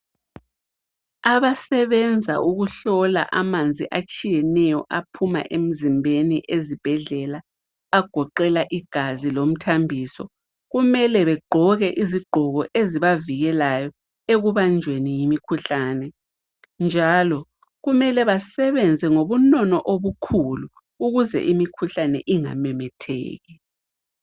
Abasebenza ukuhlola amanzi atshiyeneyo aphuma emzimbeni ezibhedlela agoqela igazi lomthambiso, kumele begqoke izigqoko ezibavikelayo ekubanjweni yemikhuhlane njalo kumele basebenza ngobunono obukhulu ukuze imikhuhlane ingamemetheki.